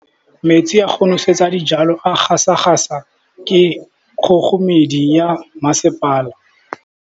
Metsi a go nosetsa dijalo a gasa gasa ke kgogomedi ya masepala.